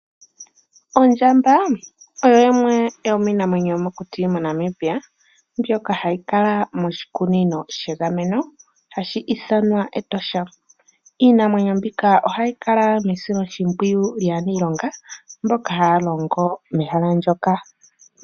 Ondjamba oyo yimwe yomiinamwenyo yomokuti moNamibia mbyoka hayi kala moshikunino shegameno hashi ithanwa Etosha. Iinamwenyo mbika ohayi kala mesiloshimpwiyu lyaaniilonga mboka haya longo mehala moka.